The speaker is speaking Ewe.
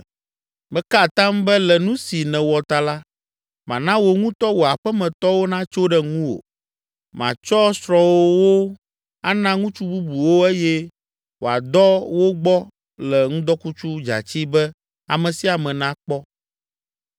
“ ‘Meka atam be le nu si nèwɔ ta la, mana wò ŋutɔ wò aƒemetɔwo natso ɖe ŋuwò. Matsɔ srɔ̃wòwo ana ŋutsu bubuwo eye wòadɔ wo gbɔ le ŋdɔkutsu dzatsɛ be ame sia ame nakpɔ.